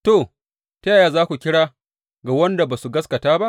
To, ta yaya za su kira ga wanda ba su gaskata ba?